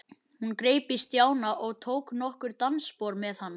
Hún greip í Stjána og tók nokkur dansspor með hann.